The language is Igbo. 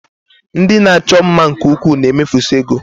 Ndị na-achọ mma nke ukwuu na-emefusị ego